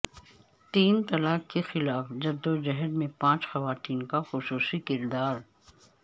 تین طلاق کے خلاف جدوجہد میں پانچ خواتین کا خصوصی کردار